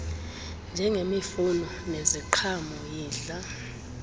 njengemifuno neziqhamo yidla